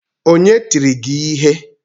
Onye tiri gi ihe?